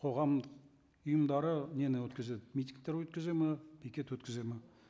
қоғамдық ұйымдары нені өткізеді митингтер өткізеді ме пикет өткізеді ме